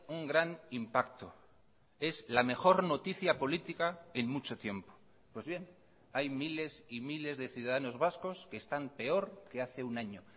un gran impacto es la mejor noticia política en mucho tiempo pues bien hay miles y miles de ciudadanos vascos que están peor que hace un año